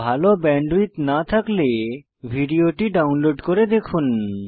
ভাল ব্যান্ডউইডথ না থাকলে ভিডিওটি ডাউনলোড করে দেখুন